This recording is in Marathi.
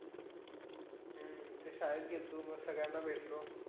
हम्म ते शाळेत गेलतो मग सगळ्यांना भेटलो.